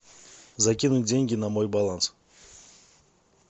закинуть деньги на мой баланс